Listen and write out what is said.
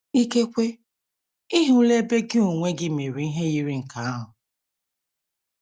Ikekwe, ị hụla ebe gị onwe gị mere ihe yiri nke ahụ.